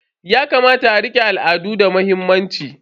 Yakamata a rike al'adu da muhimmanci.